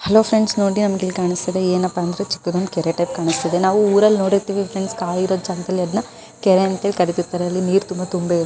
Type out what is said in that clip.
Friends ನೋಡಿ ನಮಗಿಲ್ಲಿ ಕಾಣಸ್ತಾಯಿರೋದು ಚಿಕ್ಕದೊಂದು ಕೆರೆ ತರಹ ಕಾಣಸ್ತಾಇದೆ ನಾವು ಊರಲ್ಲಿ ನೋಡಿರ್ತೀವಿ ಫ್ರೆಂಡ್ಸ್ ಖಾಲಿ ಇರೋ ಜಾಗದಲ್ಲಿ ಅದನ್ನ ಕೆರೆ ಅಂತ ಕರೀತಿರ್ತಾರೆ ಅಲ್ಲಿ ನೀರು ತುಂಬಾ ತುಂಬೆ ಇರುತ್ತೆ.